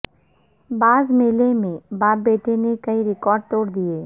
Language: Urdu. باز میلے میں باپ بیٹے نے کئی ریکارڈ توڑ دیے